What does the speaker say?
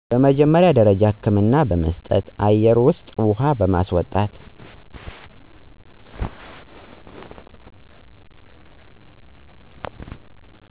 የመጀመሪያ ደረጃ ህክምና በመስጠት , አየር መስጠት ውሃ መስጠት